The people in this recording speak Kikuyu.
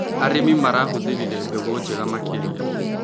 Arĩmi marahũthĩrire mbegũ njega makĩria.